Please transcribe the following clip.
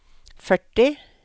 førti